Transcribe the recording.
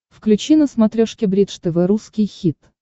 включи на смотрешке бридж тв русский хит